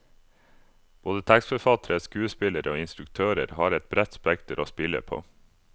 Både tekstforfattere, skuespillere og instruktører har et bredt spekter å spille på.